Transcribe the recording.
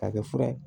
K'a kɛ fura ye